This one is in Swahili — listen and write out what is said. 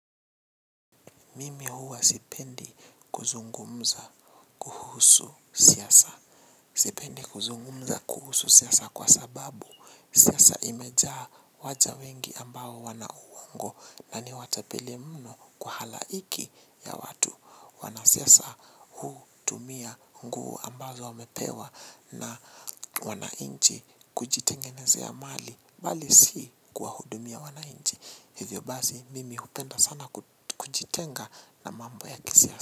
Mimi huwa sipendi kuzungumza kuhusu siasa. Sipendi kuzungumza kuhusu siasa kwa sababu siasa imejaa waja wengi ambao wana uongo na ni watapeli mno kwa halaiki ya watu. Wanasiasa hutumia nguo ambazo wamepewa. Na wananchi kujitengenezea mali bali si kuwahudumia wananchi. Hivyo basi mimi hupenda sana kujitenga na mambo ya kisiasa.